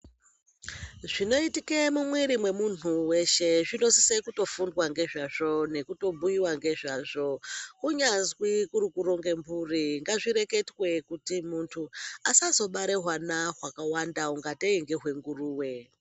Zvinoitike mumwiri wemuntu weshe zvinosise kutoreketwa ngezvazvo, kunyazi kuronge mhuri asazobare hwana hwakawanda ungatei ngehwenguruwe.